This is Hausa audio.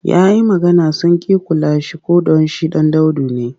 Ya yi magana sun ƙi kula shi ko don shi ɗan daudu ne.